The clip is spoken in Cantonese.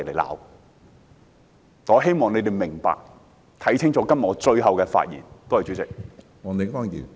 我希望市民明白，看清楚我今天發言的用意。